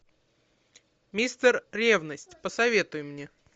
мистер ревность посоветуй мне